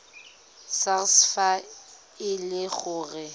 sars fa e le gore